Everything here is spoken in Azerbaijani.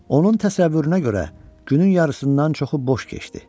Onun təsəvvürünə görə, günün yarısından çoxu boş keçdi.